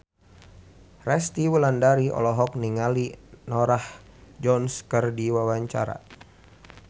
Resty Wulandari olohok ningali Norah Jones keur diwawancara